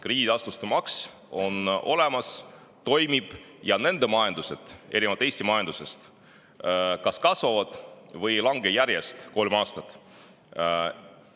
Krediidiasutuste maks on neil olemas, see toimib ja nende majandused erinevalt Eesti majandusest kas kasvavad või ei ole kolm aastat järjest langenud.